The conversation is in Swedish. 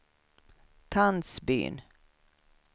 Tandsbyn